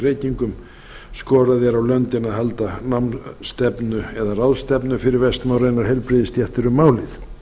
reykingum skorað er á löndin að halda ráðstefnu fyrir vestnorrænar heilbrigðisstéttir um málið